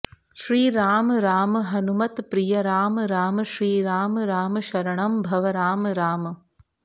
श्रीराम राम हनुमत्प्रिय राम राम श्रीराम राम शरणं भव राम राम